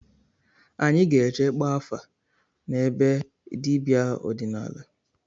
Anyị ga-eje gbaa afa na be dibịa ọdịnala